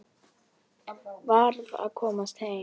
Varð að komast heim.